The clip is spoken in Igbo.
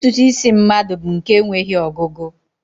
Ntụtụ isi mmadụ bụ nke enweghị ọgụgụ